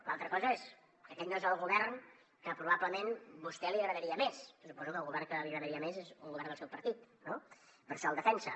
l’altra cosa és que aquest no és el govern que probablement a vostè li agradaria més perquè suposo que el govern que li agradaria més és un govern del seu partit no per això el defensa